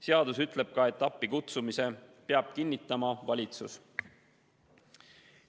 Seadus ütleb ka seda, et appikutsumise peab kinnitama valitsus.